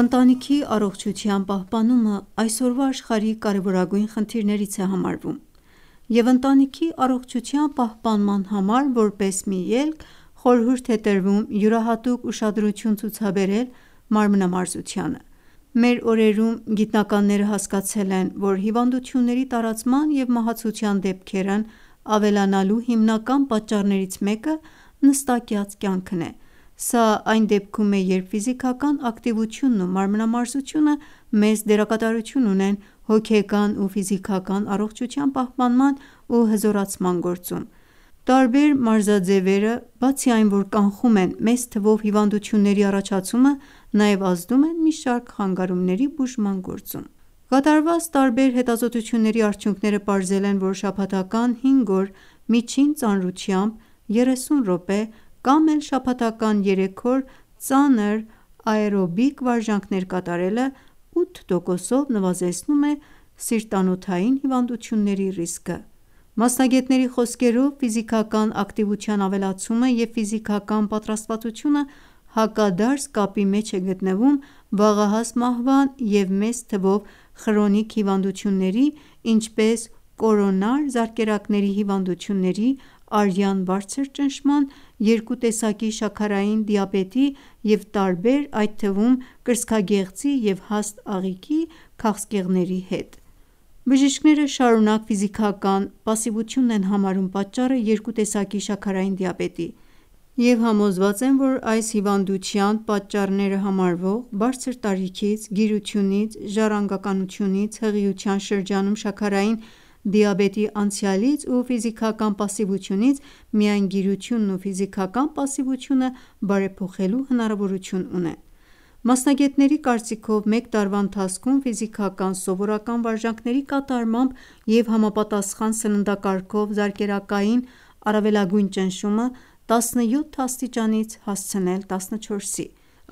Ընտանիքի առողջության պահպանումը այսօրվա աշխարհի կարևորագույն խնդիրներից է համարվում, և ընտանիքի առողջության պահպանման համար որպես մի ելք խորհուրդ է տրվում յուրահատուկ ուշադրություն ցուցաբերել մարմնամարզությանը: Մեր օրերում գիտնականները հասկացել են, որ հիվանդությունների տարածման և մահացության դեպքերն ավելանալու հիմնական պատճառներից մեկը նստակյաց կյանքն է: Սա այն դեպքում է երբ ակտիվությունն ու մարմնամարզությունը մեծ դերակատարություն ունեն հոգեկան ու ֆիզիկական առողջության պահպանման ու հզորացման գործում: Տարբեր մարզաձևերը բացի այն որ կանխում են մեծ թվով հիվանդությունների առաջացումը, նաև ազդում են մի շարք խանգարումների բուժման գործում: Կատարված տարբեր հետազոտությունների արդյունքները պարզել են, որ շաբաթական 5 օր միջին ծանրությամբ 30 րոպե, կամ էլ շաբաթական 3 օր ծանր աէրոբիկ վարժանքներ կատարելը 8 տոկոսով նվազեցնում է սիրտ-անոթային հիվանդությունների ռիսկը: Մասնագետների խոսքերով ֆիզիկական ակտիվության ավելացումը և ֆիզիկական պատրաստվածությունը հակադարձ կապի մեջ է գտնվում վաղահաս մահվան և մեծ թվող խրոնիկ հիվանդությունների ինչպես՝ կորոնար զարկերակների հիվանդությունների, արյան բարձր ճնշման, 2 տեսակի շաքարային դիաբետի և տարբեր այդ թվում՝ կրծքագեղձի և հաստ աղիքի քաղցկեղների հետ: Բժիշկները շարունակ ֆիզիկական պասիվությունն են համարում պատճառը 2 տեսակի շաքարային դիաբետի և համոզված են, որ այս հիվանդության պատճառները համարվող բարձր տարիքից, գիրությունից, ժառանգականությունից, հղիության շրջանում շաքարային դիաբետի անցյալից ու ֆիզիկական պասիվությունից միայն գիրությունն ու ֆիզիկական պասիվությունը բարեփոխելու հնարավորություն ունեն: Մասնագետների կարծիքով, մեկ տարվա ընթացքում, ֆիզիկական սովորական վարժանքների կատարմամբ և համապատասխան սննդակարգով զարկերակային առավելագույն ճնշումը 17 աստիճանից հասցնել 14-ի: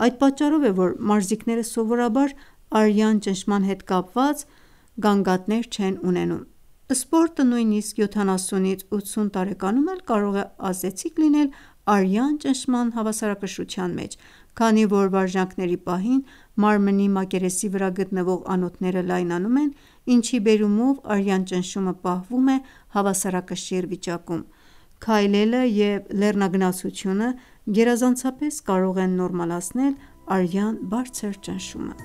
Այդ պատճառով է, որ մարզիկները սովորաբար արյան ճնշման հետ կապված գանգատներ չեն ունենում: Սպորտը նույնիսկ 70-80 տարեկանում էլ կարող է ազդեցիկ լինել արյան ճնշման հավասարակշռության մեջ: Քանի որ վարժանքների պահին մարմնի մակերեսի վրա գտնվող անոթները լայնանում են, ինչի բերումով արյան ճնշումը պահվում է հավասարակշիռ վիճակում: Քայլելը և լեռնագնացությունը գերազանցապես կարող են նորմալացնել արյան բարձր ճնշումը: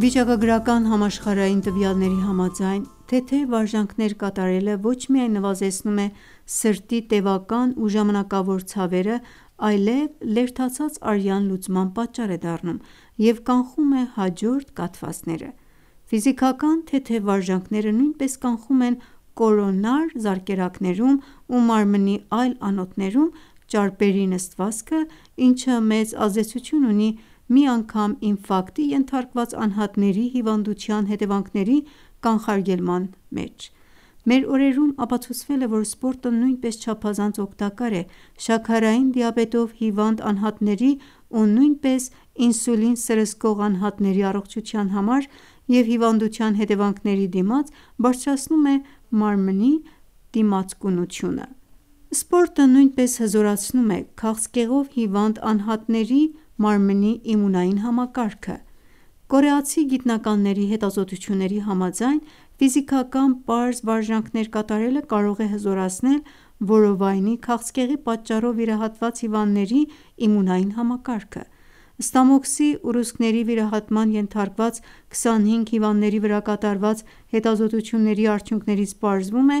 Վիճակագրական համաշխարհային տվյալների համաձայն, թեթև վարժանքներ կատարելը ոչ միայն նվազեցնում է սրտի տևական ու ժամանակավոր ցավերը, այլև լերդացած արյան լուծման պատճառ է դառնում և կանխում է հաջորդ կաթվածները: Ֆիզիկական թեթև վարժանքները նույնպես կանխում են կորոնար զարկերակներում ու մարմնի այլ անոթներում ճարպերի նստվածքը, ինչը մեծ ազդեցություն ունի մի անգամ ինֆակտի ենթարկված անհատների հիվանդության հետևանքների կանխարգելման մեջ: Մեր օրերում ապացուցվել է, որ սպորտը նույնպես չափազանց օգտակար է շաքարային դիաբետով հիվանդ անհատների ու նույնիսկ ինսուլին սրսկող անհատների առողջության համար և հիվանդության հետևանքների դիմաց բարձրացնում է մարմնից դիմացկունությունը: Սպորտը նույնպես հզորացնում է քաղցկեղով հիվանդ անհատների մարմնի իմունային համակարգը: Կորեացի գիտնականների հետազոտությունների համաձայն ֆիզիկական պարզ վարժանքներ կատարելը կարող է հզորացնել որովայնի քաղցկեղի պատճառով վիրահատված հիվանդների իմունային համակարգը: Ստամոքսի ուռուցքների վիրահատման ենթարկված 25 հիվանդների վրա կատարված հետազոտությունների արդյունքներից պարզվում է,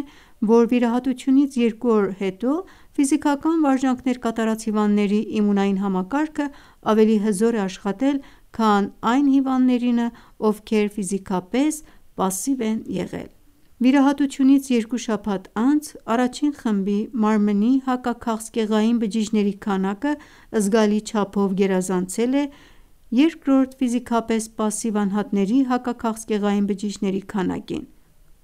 որ վիրահատությունից 2 օր հետո ֆիզիկական վարժանքներ կատարած հիվանդների իմունային համակարգը ավելի հզոր է աշխատել քան այն հիվանդներինը, ովքեր ֆիզիկապես պասիվ են եղել: Վիրահատությունից 2 շաբաթ անց առաջին խմբի մարմնի հակաքաղցկեղային բջիջների քանակը զգալի չափով գերազանցել է 2-րդ՝ ֆիզիկապես պասիվ անհատների հակաքաղցկեղային բջիջների քանակին: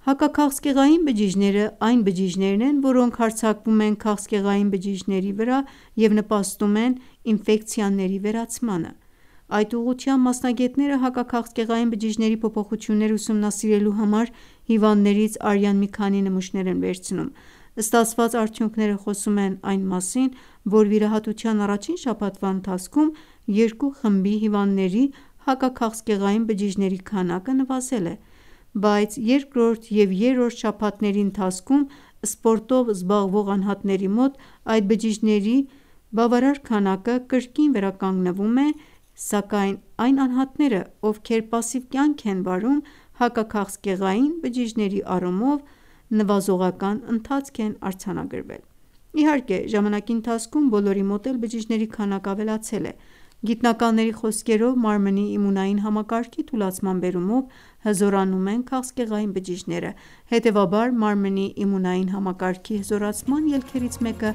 Հակաքաղցկեղային բջիջներն այն բջիջներն են, որոնք հարձակվում են քաղցկեղային բջիջների վրա և նպաստում են ինֆեկցիաների վերացմանը: Այդ ուղղությամբ մասնագետները հակաքաղցկեղային բջիջների փոփոխությունները ուսումնասիրելու համար հիվանդներից արյան մի քանի նմուշներ են վերցնում: Ստացված արդյունքները խոսում են այն մասին, որ վիրահատության առաջին շաբաթվա ընթացքում երկու խմբի հիվանդների հակաքաղցկեղային բջիջների քանակը նվազել է: Բայց երկրորդ և երրորդ շաբաթների ընթացքում սպորտով զբաղվող անհատների մոտ այդ բջիջների բավարար քանակը կրկին վերականգնվում է, սակայն այն անհատների մոտ, ովքեր պասիվ կյանք են վարել հակաքաղցկեղային բջիջների առումով նվազողական ընթացք է արձանագրվել: Իհարկե ժամանակի ընթացքում բոլորի մոտ էլ բջիջների քանակը ավելացել է: Գիտնականների խոսքերով մարմնի իմունային համակարգի թուլացման բերումով հզորանում են քաղցկեղային բջիջները: Հետևաբար մարմնի իմունային համակարգի հզորացման ելքերից մեկը